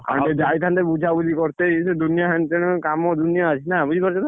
ଆମେ ଯାଇଥାନ୍ତେ ବୁଝାବୁଝି କର୍ତେ, ଇଏ ସିଏ ଦୁନିଆ ହେଣତେଣ କାମ ଦୁନିଆ ଅଛି, ନା ବୁଝିପାରୁଛ ନା?